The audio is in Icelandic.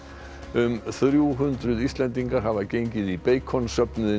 um þrjú hundruð Íslendingar hafa gengið í